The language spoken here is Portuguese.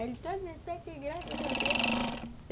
Ele também, graças a Deus.